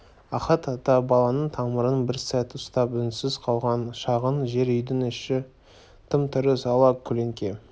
ахат ата баланың тамырын бір сәт ұстап үнсіз қалған шағын жер үйдің іші тым-тырыс ала көлеңке